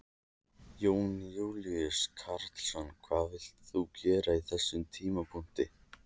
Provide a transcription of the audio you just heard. Jón Júlíus Karlsson: Hvað vilt þú gera á þessum tímapunkti?